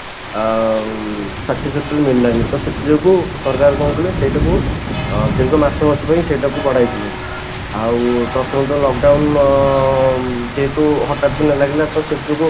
ଆଉ satisfactory ମିଳିଲାନି ତ ସେଥି ଯୋଗୁ ସରକାର କଣ କଲେ ସେଇଟାକୁ ଅଧିକ ମାସ ମାସ ପାଇଁ ସେଇଟାକୁ ବଢାଇଥିଲେ ଆଉ ପ୍ରଥମ ତ lock down ଅଂ ଯେହେତୁ ହଠାତ କିନା ଲାଗିଲା ତ ସେଥି ଯୋଗୁ